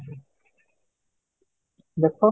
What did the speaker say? ଦେଖ